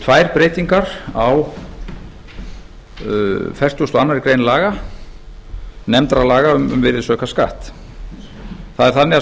tvær breytingar á fertugasta og aðra grein laga númer fimmtíu nítján hundruð áttatíu og átta um virðisaukaskatt